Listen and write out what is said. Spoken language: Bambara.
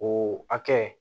O hakɛ